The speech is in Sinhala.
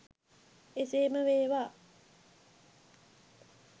එසේම වේවා